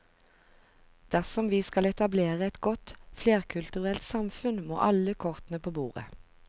Dersom vi skal etablere et godt flerkulturelt samfunn, må alle kortene på bordet.